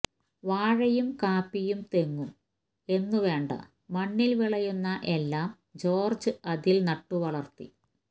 വാഴയും കാപ്പിയും തെങ്ങും എന്നു വേണ്ട മണ്ണിൽ വിളയുന്ന എല്ലാം ജോർജ് അതിൽ നട്ടുവളർത്തി